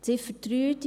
Ziffer 3